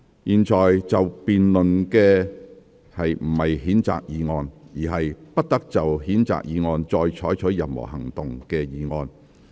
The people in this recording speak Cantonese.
現在要辯論的不是譴責議案，而是"不得就譴責議案再採取任何行動"的議案。